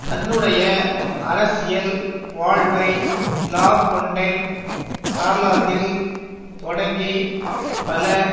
தன்னுடைய அரசியல் வாழ்வை லாபொன்டைன் சார்லாந்தில் தொடங்கி பல